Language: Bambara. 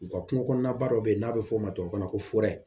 U ka kungo kɔnɔna ba dɔ bɛ yen n'a bɛ fɔ o ma tubabu kan na ko